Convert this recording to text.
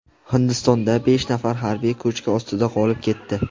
Hindistonda besh nafar harbiy ko‘chki ostida qolib ketdi.